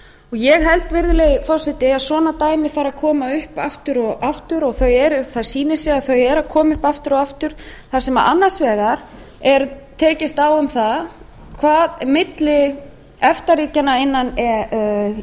ég held virðulegi forseti að svona dæmi fari að koma upp aftur og aftur og það sýnir sig að þau eru að koma upp aftur og aftur þar sem annars vegar er tekist á um það milli efta ríkjanna innan e